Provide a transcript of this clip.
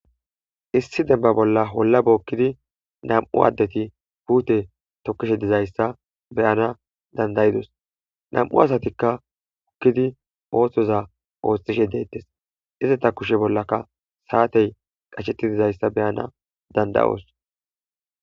Issi demba bolla holla bookkidi nam'u addeti puute tokishe dizayssa beyana dandayidos nam'u asatikka hukkidi ooththoza ooxxishe deettes izata kushe bollaka saatey qashetti dizayssa beyana dandayoos.